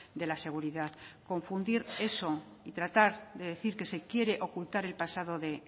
de la seguridad confundir eso y tratar de decir que se quiere ocultar el pasado de